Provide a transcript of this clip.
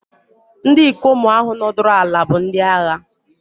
Ndị ikom ahụ nọdụrụ ala bụ ndị agha.